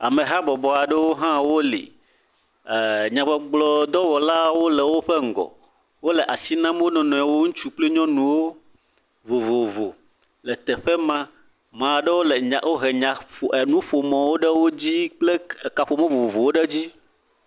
Ameha bɔbɔtɔ aɖe hã wole li. Nyagbɔgblɔdɔwɔlawo le wòƒe ŋgɔ. Wòle asi nam wò nɔnɔewo nɔnɔewo. Ŋutsu kple nyɔnuwo vovovowo le teƒe ma. Ma ɖewo wò ke nya, wò he nya ɖe te maa, woƒo nu vovovowo ɖe dzi le teƒe maa.